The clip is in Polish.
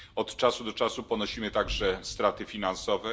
Od czasu do czasu ponosimy także straty finansowe.